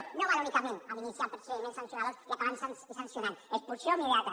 no s’hi val únicament amb iniciar procediments sancionadors i acabar sancionant expulsió immediata